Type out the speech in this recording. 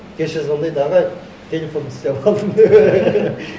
кеше звондайды ағай телефонымды істеп алдым деп